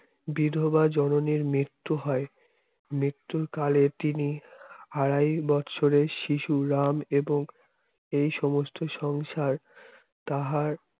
বিধবা জননীর মৃত্যু হয় মৃত্যুর কালে তিনি আড়াই বছরের শিশু রাম এবং এই সমস্ত সংসার তাহার